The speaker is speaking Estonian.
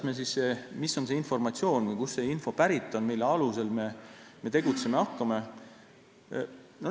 Milline on informatsioon ja kust on pärit see info, mille alusel me tegutsema hakkame?